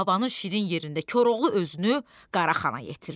Davanın şirin yerində Koroğlu özünü Qaraxana yetirdi.